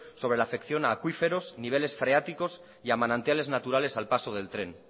sobre la afección a acuíferos niveles freáticos y a manantiales naturales al paso del tren